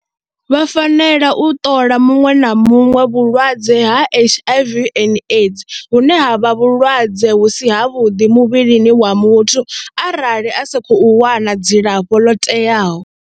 Vha fanela u ṱola muṅwe na muṅwe vhulwadze haH_I_V and AIDS hune ha vha vhulwadze husi havhuḓi muvhilini wa muthu arali a sa khou wana dzilafho ḽo teaho.